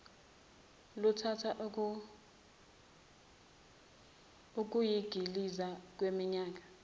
luthatha ukuyingiliza kweminyaka